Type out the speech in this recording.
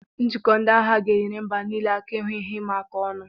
Njikọ ndị agha ga-enyere mba niile aka ihu ihe ịma aka ọnụ.